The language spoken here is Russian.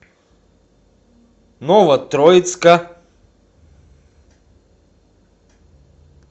новотроицка